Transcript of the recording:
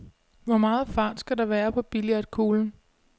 Hvor meget fart skal der være på billiardkuglen?